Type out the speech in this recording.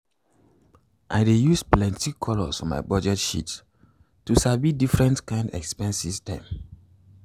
i dey use plenty colours for my budget sheet to sabi different kind expenses dem.